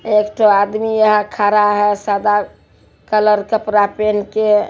एक ठो आदमी यहाँ खरा है सादा कलर कपड़ा पेहन के।